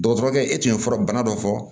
Dɔgɔtɔrɔkɛ e tun ye fura bana dɔ fɔ